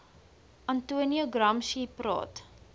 antonio gramsci praat